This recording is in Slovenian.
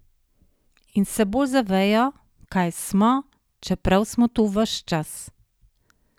In se bolj zavejo, kaj smo, čeprav smo tu ves čas.